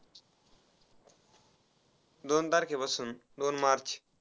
दोन तारखेपासून दोन march.